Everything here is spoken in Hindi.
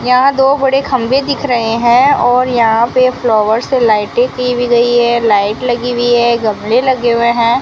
यहाँ दो बड़े खंभे दिख रहे है और यहाँ पे फ्लावर से लाइटिंग की हुई है लाइट लगी हुई है गमले लगे हुए हैं।